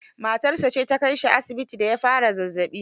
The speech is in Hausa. Matarsa ce ta kai shi asibiti da ya fara zazzaɓi.